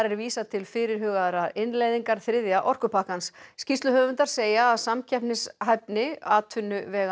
er vísað til fyrirhugaðrar innleiðingar þriðja orkupakkans skýrsluhöfundar segja að samkeppnishæfni atvinnuveganna